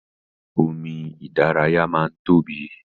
Omi ìdárayá máa n tóbi.